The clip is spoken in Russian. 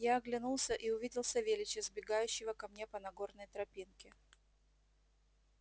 я оглянулся и увидел савельича сбегающего ко мне по нагорной тропинке